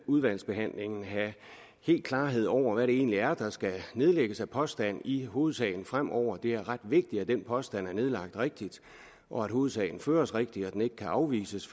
udvalgsbehandlingen have helt klarhed over hvad det egentlig er der skal nedlægges som påstand i hovedsagen fremover det er ret vigtigt at den påstand er nedlagt rigtigt og at hovedsagen føres rigtigt og at den ikke kan afvises